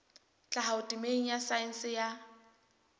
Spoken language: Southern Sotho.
tlhaho temeng ya saense ya